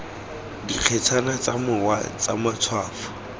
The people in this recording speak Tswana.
dikgetsana tsa mowa tsa matshwafo